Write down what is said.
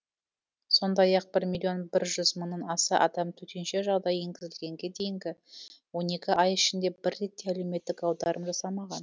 сондай ақ бір миллион бір жүз мыңнан аса адам төтенше жағдай енгізілгенге дейінгі он екі ай ішінде бір рет те әлеуметтік аударым жасамаған